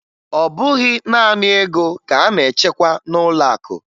Ọ bụghị naanị ego ka a na-achekwa n'ụlọakụ